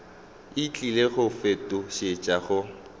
e tlile go fetošetšwa go